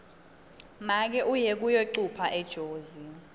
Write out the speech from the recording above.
make uye kuyocupha ejozi